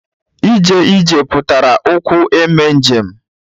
Ije ije pụtara ije ụkwụ eme njem.